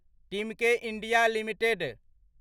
Timken India limited